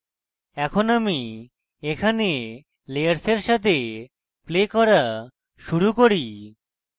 এখন আমি এখানে layers সাথে play করা শুরু করি